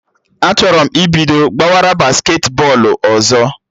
Achọrọ m ibido gbawara basketi bọọlụ ọzọ